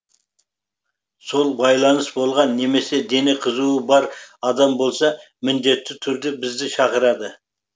сол байланыс болған немесе дене қызуы бар адам болса міндетті түрде бізді шақырады